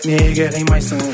неге қимайсың